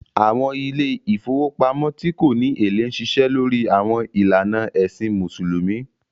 Àwọn ilé ìfowópamọ́ tí kò ní èlé ń ṣiṣẹ́ lórí àwọn ìlànà ẹ̀sìn Mùsùlùmí